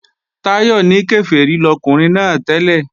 Táyọ̀ ní Kèfèrí lọkùnrin náà tẹ́lẹ̀